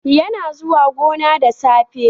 Yana zuwa gona da safe.